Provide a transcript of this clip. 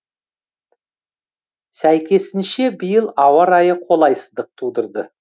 сәйкесінше биыл ауа райы қолайсыздық тудырды